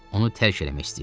Onu tərk eləmək istəyirdi.